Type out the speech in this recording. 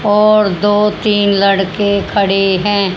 और दो तीन लड़के खड़े हैं।